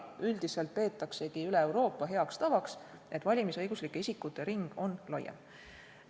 Üldiselt peetaksegi üle Euroopa heaks tavaks, et valimisõiguslike isikute ring on siis laiem.